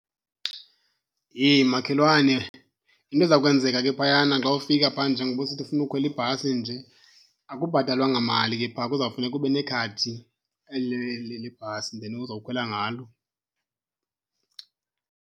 Heyi, makhelwane! Into eza kwenzeka ke phayana xa ufika phaa njengoba usithi ufuna ukhwela ibhasi nje, akubhatalwa ngamali ke phaa kuzawufuneka ube nekhadi eli ileli lebhasi, then uzokhwela ngalo.